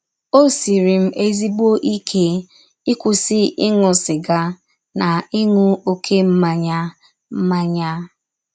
Ọ siiri m ezịgbọ ike ịkwụsị ịṅụ sịga na ịṅụ ọké mmanya mmanya.